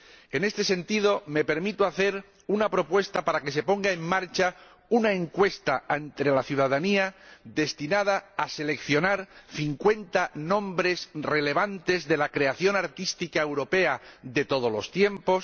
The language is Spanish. En este sentido, me permito hacer una propuesta para que se ponga en marcha una encuesta ante la ciudadanía, destinada a seleccionar 50 nombres relevantes de la creación artística europea de todos los tiempos.